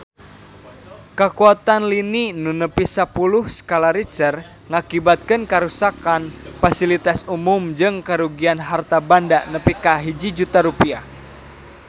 Kakuatan lini nu nepi sapuluh skala Richter ngakibatkeun karuksakan pasilitas umum jeung karugian harta banda nepi ka 1 juta rupiah